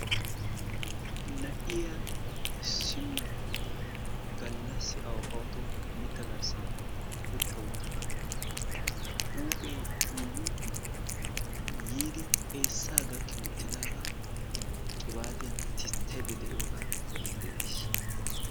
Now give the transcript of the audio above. Na'iyaa issinna gallassi awa kawoto mitta garssan utta uttada huuphee iigee yiidi xeessaa gakki uttidaagaa qibaatiyan tisttaydda de'iyoogaa be'aydda dayis.